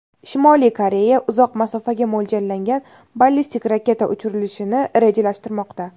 Shimoliy Koreya uzoq masofaga mo‘ljallangan ballistik raketa uchirilishini rejalashtirmoqda.